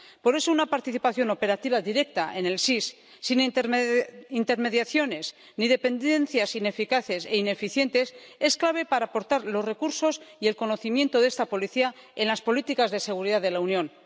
Por eso, una participación operativa directa en el SIS, sin intermediaciones ni dependencias ineficaces e ineficientes, es clave para aportar los recursos y el conocimiento de esta Policía en las políticas de seguridad de la Unión.